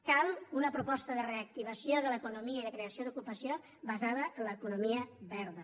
cal una proposta de reactivació de l’economia i de creació d’ocupació basada en l’economia verda